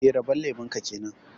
Eh, rabon lemun ka kenan